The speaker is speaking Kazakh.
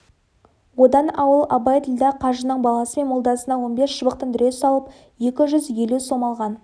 одан ауыл абайділдә қажының баласы мен молдасына он бес шыбықтан дүре салып екі жүз елу сом алған